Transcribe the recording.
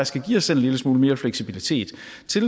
skal give os selv en lille smule mere fleksibilitet